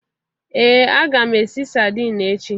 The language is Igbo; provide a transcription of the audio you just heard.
Ee, aga m esi sardine echi.